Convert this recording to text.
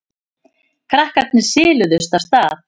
Krakkarnir siluðust af stað.